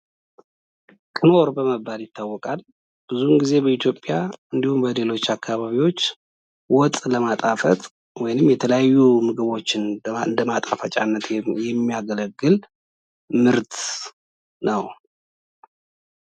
ክኖር ይታወቃል በኢትዮጵያ እንዲሁም በሌሎች አካባቢዎች ወጥ ለማጣፈጥ የተለያዩ ምግቦችን እንደማጣፈጫነት የሚያገለግል ምርት ነው።